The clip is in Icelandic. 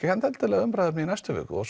ekkert endilega umræðuefni í næstu viku og